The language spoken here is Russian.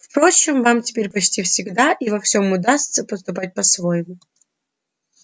впрочем вам теперь почти всегда и во всём удастся поступать по-своему